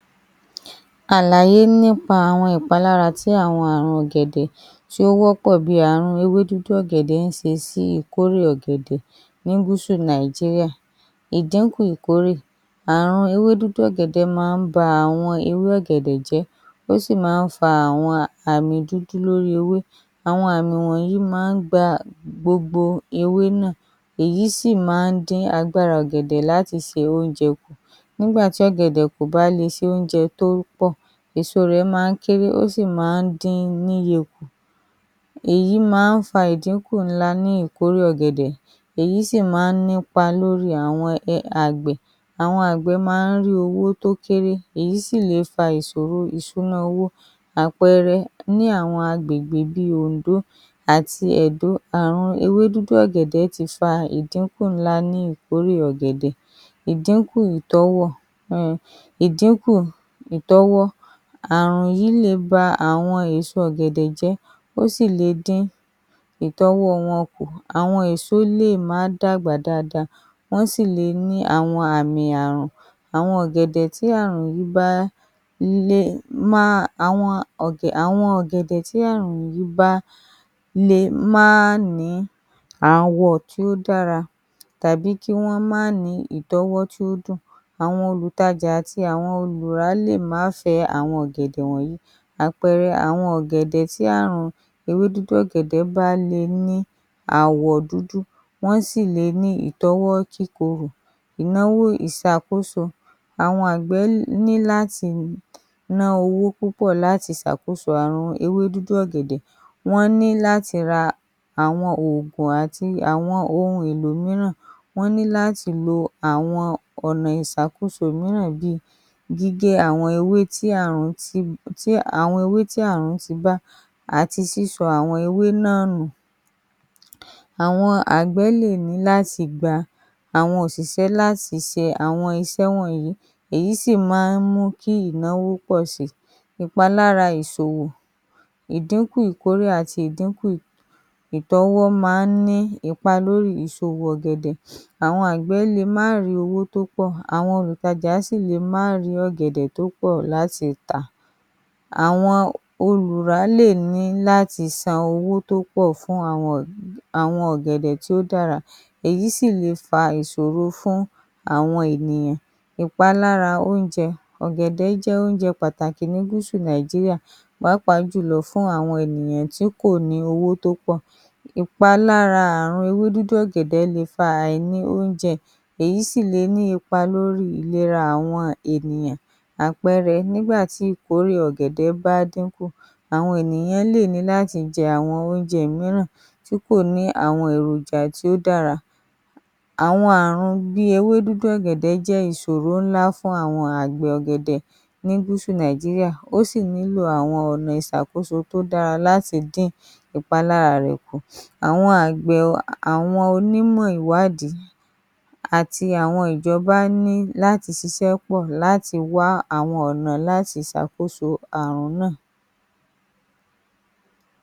Àlàyé nípa àwọn ìṣòro tí àwọn àgbẹ̀ ọ̀gẹ̀dẹ̀ máa ní ní Gúsù Nàìjíríà pẹ̀lú àwọn kòkòrò àwọn Ààrùn àti àìtó àwọn ohun èlò ìdàgbàsókè, àwọn kòkòrò bíi, àwọn kòkòrò tí wọ́n ń jẹ ewé ọ̀gẹ̀dẹ̀ àti àwọn kòkòrò tí wọ́n ń jẹ gbòǹgbò ọ̀gẹ̀dẹ̀ le ba ọ̀gẹ̀dẹ̀ jẹ́ àwọn kòkòrò yìí máa ń jẹ àwọn ewé wọ́n sì máa ń ba gbòǹgbò jẹ́ èyí sì máa ń mú kí ọ̀gẹ̀dẹ̀ kùnà láti dàgbà dáadáa wọ́n wọ́n le dín ìkórè kù wọ́n sì tún le ba itọ́wọ̀ ọ̀gẹ̀dẹ̀ jẹ́, àwọn èso ọ̀gẹ̀dẹ̀ lè kééré wọ́n sì le awon àmì kòkòrò àwọn Ààrùn bíi ewé dúdú ọ̀gẹ̀dẹ̀ le ba àwọn ewé ọ̀gẹ̀dẹ̀ jẹ́, èyí sì le fa àwọn ìdínkù ńlá ní ìkórè Ààrùn yìí máa ń fa àwọn àmì dúdú lórí ewé ó sì máa ń jẹ́ kí ewé gbẹ, àwọn Ààrùn mìíràn lè ba èso ọ̀gẹ̀dẹ̀ jẹ́, ó sì le dín àwọn itọ́wọ̀ wọn kù, àwọn èso le ní àwọn àmì Ààrùn, wọ́n sì le má ní ìtọ́wọ́ tó dùn, àìtó àwọn ohun èlò ìdàgbàsókè, àìtó àwọn òpópónà tí kò dára le mú kí ó ṣòro láti gbé ọ̀gẹ̀dẹ̀ lọ sí ọjà, àwọn ọ̀gẹ̀dẹ̀ lè bàjẹ́ ní ọ̀nà èyí sì máa ń fa ìṣòro fún àwọn àgbẹ̀ àìtó àwọn ibi ìpamọ́ tó dára le mú kí ọ̀gẹ̀dẹ̀ bàjẹ́ kí Wọ́n tó tà á, àwọn àgbẹ̀ ní láti ta àwọn ọ̀gẹ̀dẹ̀ wọn ní kíákíá èyí sì lè dín owó tí wọ́n máa ń rí kù, àwọn ohun èlò ìrànlọ́wọ́, ìsúná owó lè mú kí ó ṣòro fún àwọn àgbẹ̀ láti rí owó láti fi ra àwọn ohun tí wọ́n nílò, wọ́n lè má le ra àwọn ajílẹ̀, àwọn òògùn àti àwọn ohun èlò mìíràn, àwọn ìṣòro mìíràn, àìtó ìmọ̀ lórí àwọn ọ̀nà ègbè tí ó dára ọ̀pọ̀lọpọ̀ àwọn àgbẹ̀ kò onímọ̀ lórí àwọn ọ̀nà tí ó lè mú kí ìkórè wọn pọ̀ sí i, ìyípadà ojú ọjọ́ èyí tó lè fa ìṣàn omi tàbí ìyàn, àwọn ìṣẹ̀lẹ̀ wọ̀nyí lè ba àwọn oko ọ̀gẹ̀dẹ̀ jẹ́, ó sì le fa ìdínkù ńlá ní ìkórè. Àìtó àwọn ọ̀gẹ̀dẹ̀ tó dára fún títà ọ̀gẹ̀dẹ̀ àwọn àgbẹ̀ lè má rí àwọn ọjà tó dára láti ta àwọn ọ̀gẹ̀dẹ̀ wọn, èyí sì le dín àwọn owó tí wọ́n máa ń rí kù, àwọn ìṣòro wọ̀nyí ń mú kí ó ṣòro fún àwọn àgbẹ̀ ọ̀gẹ̀dẹ̀ ní gúúsù Nàìjíríà láti rí èrè tó pọ̀, ó nílò àwọn olùrànlọ́wọ́ láti ọ̀dọ̀ ìjọba àti àwọn àjọ mìíràn láti dín àwọn ìṣòro wọ̀nyí kù. ‎